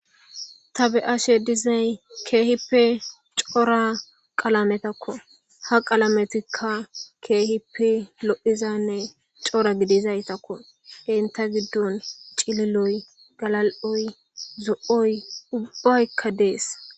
Tabe7ashe dizay keehippe cora qalametakko ha qalametikka keehippe lo7izanne cora gidizaytakko inta giddon cililoy galal7oy zo7oy ubbaykka dees